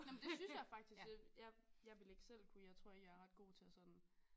Nå men det synes jeg faktisk jeg jeg ville ikke selv kunne jeg tror i er ret godt at sådan